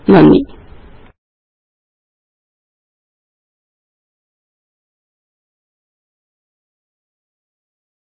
നന്ദി പിന്നെ കാണാം